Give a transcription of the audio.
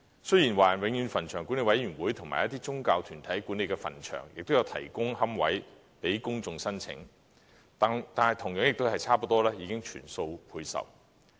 雖然華人永遠墳場管理委員會及一些宗教團體管理的墳場也有提供龕位予公眾申請，但同樣亦是差不多已全數配售。